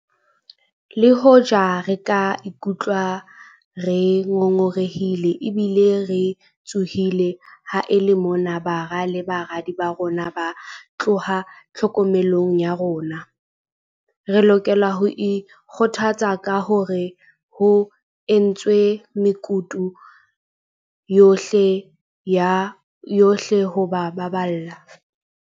Le hoja re ka ikutlwa re ngo ngorehile ebile re tshohile ha e le mona bara le baradi ba rona ba tloha tlhokomelong ya rona, re lokela ho ikgothatsa ka hore ho entswe mekutu yohle ho ba baballa.